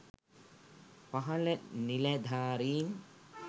පහල නිළැධාරීන්